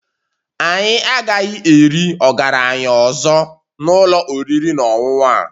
Anyị agaghị eri ọgaranya ọzọ na ụlọ oriri na ọṅụṅụ a